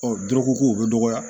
Ɔ dɔrɔkɔ ko o bɛ dɔgɔya